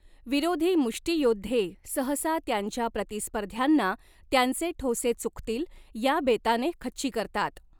विरोधी मुष्टियोद्धे सहसा त्यांच्या प्रतिस्पर्ध्यांना, त्यांचे ठोसे चुकतील ह्या बेताने खच्ची करतात.